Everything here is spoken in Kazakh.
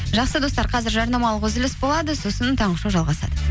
жақсы достар қазір жарнамалық үзіліс болады сосын таңғы шоу жалғасады